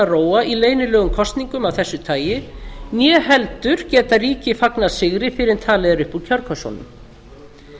róa í leynilegum kosningum af þessu tagi né heldur geta ríki fagnað sigri fyrr en talið er upp úr kjörkössunum